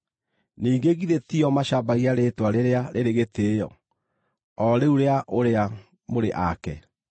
Ningĩ githĩ ti o macambagia rĩĩtwa rĩrĩa rĩrĩ gĩtĩĩo, o rĩu rĩa ũrĩa mũrĩ ake?